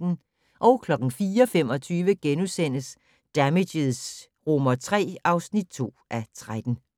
04:25: Damages III (2:13)